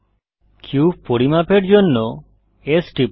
cube পরিমাপের জন্য S টিপুন